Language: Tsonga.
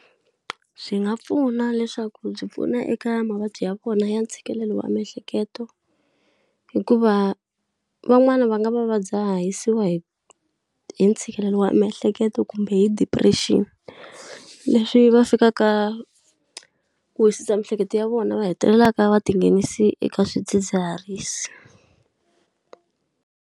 Swi nga pfuna leswaku byi pfuna eka mavabyi ya vona ya ntshikelelo wa miehleketo hikuva van'wani va nga va dzhahisiwa hi hi ntshikelelo wa miehleketo kumbe hi depression, leswi va fikaka ku wisisa miehleketo ya vona va hetelelaka va tinghenisa eka swidzidziharisi.